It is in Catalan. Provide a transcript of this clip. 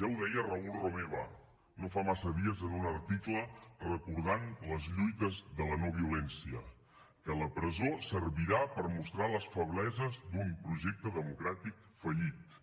ja ho deia raül romeva no fa massa dies en un article que recordava les lluites de la no violència que la presó servirà per mostrar les febleses d’un projecte democràtic fallit